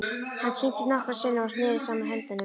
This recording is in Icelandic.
Hann kyngdi nokkrum sinnum og neri saman höndunum.